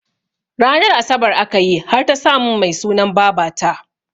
Ranar asabar akayi har ta samun Mai sunan babata